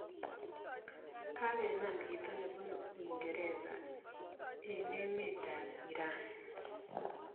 Kagenam chito nebunu uingereza eng emet ab iran